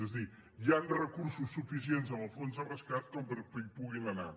és a dir hi han recursos suficients en el fons de rescat com perquè hi puguin anar